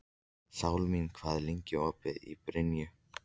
Súlamít, hvað er lengi opið í Brynju?